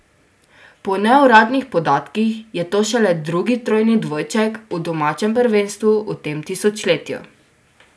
Po neuradnih podatkih je to šele drugi trojni dvojček v domačem prvenstvu v tem tisočletju.